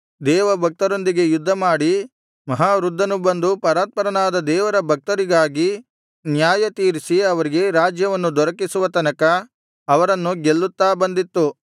ದೇವಭಕ್ತರೊಂದಿಗೆ ಯುದ್ಧಮಾಡಿ ಮಹಾವೃದ್ಧನು ಬಂದು ಪರಾತ್ಪರನಾದ ದೇವರ ಭಕ್ತರಿಗಾಗಿ ನ್ಯಾಯತೀರಿಸಿ ಅವರಿಗೆ ರಾಜ್ಯವನ್ನು ದೊರಕಿಸುವ ತನಕ ಅವರನ್ನು ಗೆಲ್ಲುತ್ತಾ ಬಂದಿತ್ತು